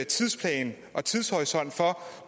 tidsplan og tidshorisont for